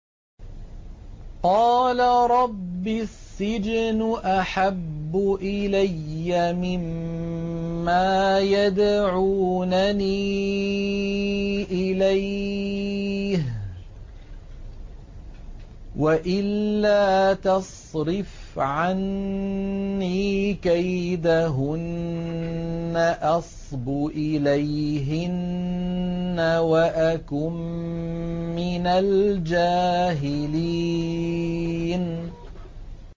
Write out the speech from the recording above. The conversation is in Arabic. قَالَ رَبِّ السِّجْنُ أَحَبُّ إِلَيَّ مِمَّا يَدْعُونَنِي إِلَيْهِ ۖ وَإِلَّا تَصْرِفْ عَنِّي كَيْدَهُنَّ أَصْبُ إِلَيْهِنَّ وَأَكُن مِّنَ الْجَاهِلِينَ